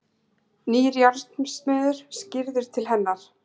Nýr járnsmiður skríður til hennar.